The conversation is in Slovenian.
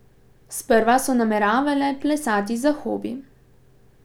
Sprva so nameravale plesati za hobi.